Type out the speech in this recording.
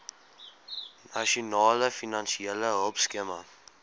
nasionale finansiële hulpskema